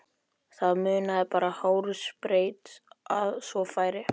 Það munaði bara hársbreidd að svo færi.